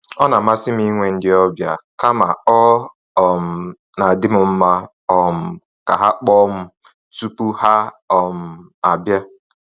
Ọ na amasị amasị m inwe ndị ọbịa, kama ọ um na-adịm mma um ka ha kpọọ m tupu ha um abia